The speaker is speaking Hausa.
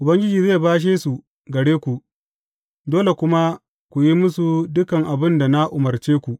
Ubangiji zai bashe su gare ku, dole kuma ku yi musu dukan abin da na umarce ku.